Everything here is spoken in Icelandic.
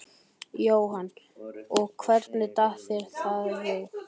Jóhanna: Og hvernig datt þér það í hug?